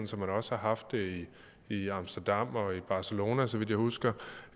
som man også har haft det i amsterdam og i barcelona så vidt jeg husker